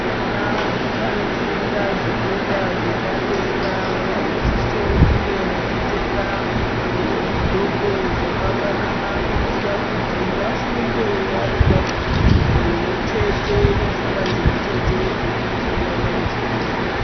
Vana vanofunda zvikora zvepadera vanosisao kunge vachipfeka zvigqoko zvakafanana kuitira kuti vafunde vari panzvimbo imwe chete nepfungwa dzimwechete dzekuti vana vechikora.